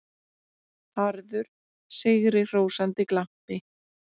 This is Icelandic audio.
Harður, sigrihrósandi glampi.